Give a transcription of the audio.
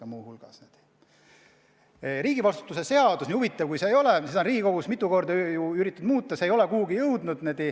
On väga huvitav, et riigivastutuse seadust on Riigikogus mitu korda üritatud muuta, aga see ei ole kuhugi jõudnud.